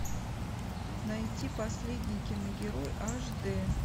найти последний киногерой аш д